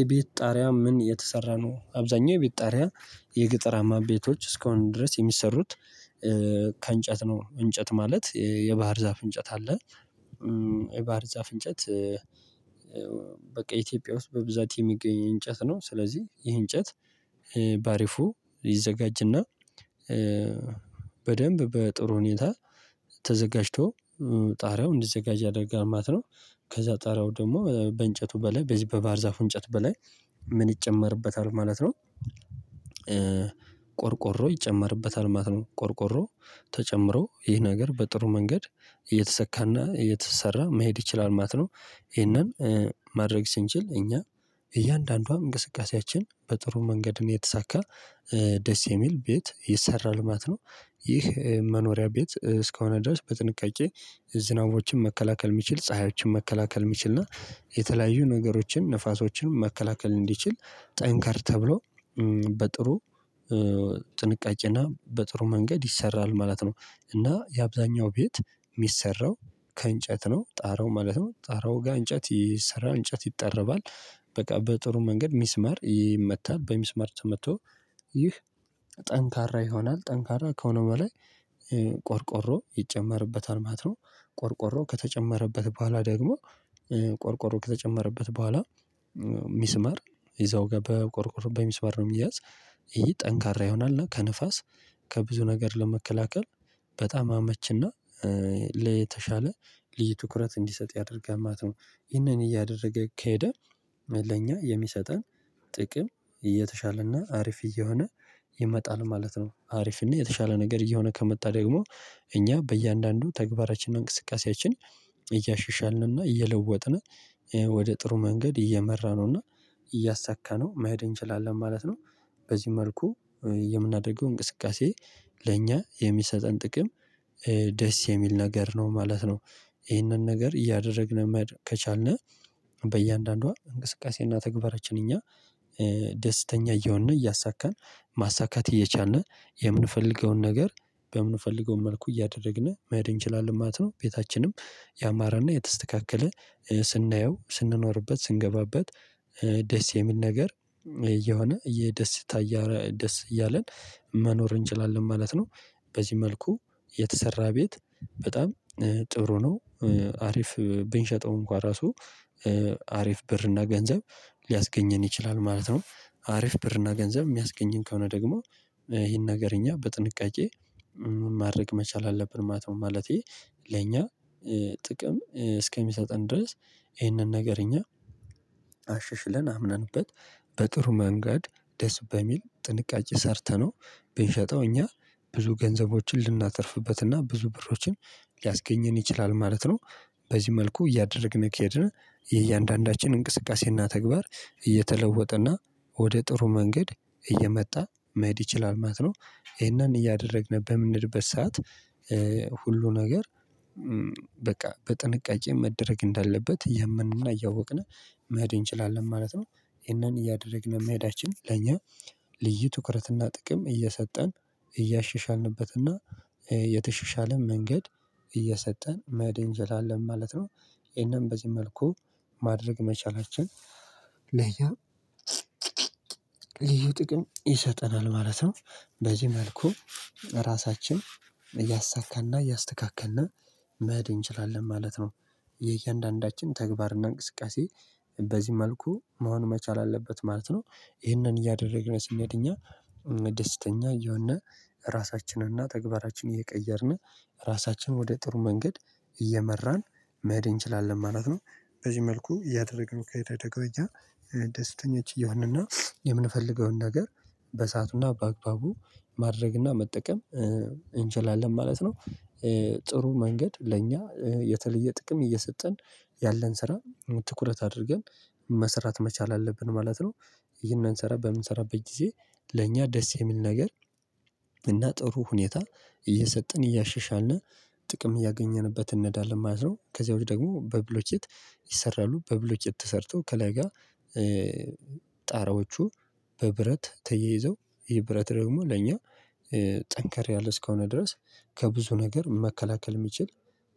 የቤት ጣሪያ ምን የተሰራ ነው አብዛኛው የቤት ጣሪያ የገጠራማ ቤቶች እስካሁን ድረስ የሚሰሩት ከእንጨት ነው እንጨት ማለት የባህር ዛፍ እንጨት አለ የባህር ዛፍ እንጨት በቃ ኢትዮጵያ ውስጥ በብዛት የሚገኝ እንጨት ነው ስለዚህ ይህ እንጨት በአሪፉ ይዘጋጅና በደንብ በጥሩ ሁኔታ ተዘጋጅቶ ጣሪያው እንዲዘጋጅ ያደርጋል ማት ነው። ከዛ ጣሪያው ደግሞ በእንጨቱ በላይ በዚህ በባህር ዛፉ እንጨት በላይ ምን ይጨመርበታል ማለት ነው ቆርቆሮ ይጨመርበታል ማለት ነው። ቆርቆሮ ተጨምሮ ይህ ነገር በጥሩ መንገድ እየተሰካና እየተሰራ መሄድ ይችላል ማለት ነው። ይሄንን ማድረግ ስንችል እኛ እያንዳንዷ እንቅስቃሴያችን በጥሩ መንገድም የተሳካ ደስ የሚል ቤት ይሰራል ማለት ነው። ይህ መኖሪያ ቤት እስከሆነ ድረስ በጥንቃቄ ዝናቦችን መከላከል የሚችል ፀሀዮችን መከላከል የሚችል እና የተለያዩ ነገሮችን ንፋሶችን መከላከል እንዲችል ጠንከር ተብሎ በጥሩ ጥንቃቄና በጥሩ መንገድ ይሰራል ማለት ነው እና የአብዛኛው ቤት የሚሰራው ከእንጨት ነው ጣራው ማለት ነው ጣራው ጋር እንጨት ይሰራል እንጨት ይጠራል በቃ በጥሩ መንገድ ሚስመር ይመታል በሚስመር ተመቶ ይህ ጠንካራ ይሆናል ጠንካራ ከሆነ በላይ ቆርቆሮ ይጨመርበታል ማለት ነው ቆርቆሮ ከተጨመረበት በኋላ ደግሞ ቆርቆሮ ከተጨመረበት በኋላ ሚስመር እዛው ጋር በቆርቆር በሚስመር ነው የሚያዝ ይሄ ጠንካራ ይሆናል እና ከንፋስ ከብዙ ነገር ለመከላከል በጣም አመችና ለተሻለ ልዩ ትኩረት እንዲሰጥ ያደርጋማት ነው ይሄንን እያደረገ ከሄደ ለኛ የሚሰጠን ጥቅም እየተሻለና አሪፍ እየሆነ ይመጣል ማለት ነው። አሪፍ እና የተሻለ ነገር እየሆነ ከመጣ ደግሞ እኛ በእያንዳንዱ ተግባራችንና እንቅስቃሴያችን እያሸሻልንና እየለወጥን ወደ ጥሩ መንገድ እየመራነውና እያሳካነው መሄድ እንችላለን ማለት ነው። በዚህ መልኩ የምናደርገው እንቅስቃሴ ለእኛ የሚሰጠን ጥቅም ደስ የሚል ነገር ነው ማለት ነው ይሄንን ነገር እያደረግን ከቻልን በእያንዳንዷ እንቅስቃሴና ተግባራችን እኛ ደስተኛ እየሆንን እያሳካን ማሳካት እየቻልን የምንፈልገውን ነገር በምንፈልገውን መልኩ እያደረግን መሄድ እንችላለን ማለት ነው። ቤታችንም ያማራና የተስተካከለ ስናየው ስንኖርበት ስንገባበት ደስ የሚል ነገር እየሆነ ደስ እያለን መኖር እንችላለን ማለት ነው። በዚህ መልኩ የተሰራ ቤት በጣም ጥሩ ነው። አሪፍ ብንሸጠው እንኳን ራሱ አሪፍ ብር እና ገንዘብ ሊያስገኝን ይችላል ማለት ነው አሪፍ ብር እና ገንዘብ የሚያስገኝን ከሆነ ደግሞ ይሄን ነገር እኛ በጥንቃቄ ማድረግ መቻል አለብን ማለት ነው ማለቴ ለእኛ ጥቅም እስከሚሰጠን ድረስ ይሄንን ነገር እኛ አሸሽለን አምነንበት በጥሩ መንገድ ደስ በሚል ጥንቃቄ ሰርተነው ብንሸጠው እኛ ብዙ ገንዘቦችን ልናተርፍበትና ብዙ ብሮችን ሊያስገኝን ይችላል ማለት ነው። በዚህ መልኩ እያደረግን ከሄድን የእያንዳንዳችን እንቅስቃሴና ተግባር እየተለወጠ እና ወደ ጥሩ መንገድ እየመጣ መሄድ ይችላል ማለት ነው። ይሄንን እያደረግን በምንልበት ሰዓት ሁሉ ነገር በቃ በጥንቃቄ መደረግ እንዳለበት እያምንና እያወቅን መሄድ እንችላለን ማለት ነው። ይሄንን እያደረግን መሄዳችን ለኛ ልዩ ትኩረትና ጥቅም እየሰጠን እያሸሻልንበትና የተሸሻለን መንገድ እየሰጠን መሄድ እንችላለን ማለት ነው። ይሄንን በዚህ መልኩ ማድረግ መቻላችን ለኛ ለዩ ጥቅም ይሰጠናል ማለት ነው። በዚህ መልኩ ራሳችን እያሳካና እያስተካከልን መድ እንችላለን ማለት ነው። የእያንዳንዳችን ተግባርና እንቅስቃሴ በዚህ መልኩ መሆን መቻል አለበት ማለት ነው። ይህንን እያደረግን ስንሄድ እኛ ደስተኛ እየሆን ራሳችንን እና ተግባራችንን እየቀየርን ራሳችንን ወደ ጥሩ መንገድ እየመራን መሄድ እንችላለን ማለት ነው። በዚህ መልኩ እያደረግን ከሄድን ደግሞ እኛ ደስተኛች እየሆንና የምንፈልገውን ነገር በሰአቱና በአክባቡ ማድረግና መጠቀም እንችላለን ማለት ነው። ጥሩ መንገድ ለእኛ የተለየ ጥቅም እየሰጠን ያለን ስራ ትኩረት አድርገን መስራት መቻል አለብን ማለት ነው። ይሄንን ስራ በምንሰራበት ጊዜ ለእኛ ደስ የሚል ነገር እና ጥሩ ሁኔታ እየሰጠን እያሸሻን ጥቅም እያገኘንበት እንሄዳለን ማለት ነው። ከዚያ ውጪ ደግሞ በብሎኬት ይሰራሉ በብሎኬት ተሰርቶ ከላይ ጋር ጣራዎቹ በብረት ተየይዘው ይሄ ብረት ደግሞ ለእኛ ጠንከር ያለ እስከሆነ ድረስ ከብዙ ነገር መከላከል የሚችል